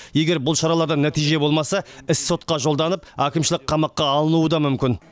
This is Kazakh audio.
егер бұл шаралардан нәтиже болмаса іс сотқа жолданып әкімшілік қамаққа алынуы да мүмкін